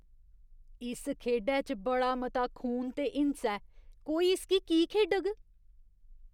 इस खेढै च बड़ा मता खून ते हिंसा ऐ। कोई इसगी की खेढग?